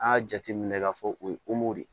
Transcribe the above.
A y'a jateminɛ k'a fɔ o ye de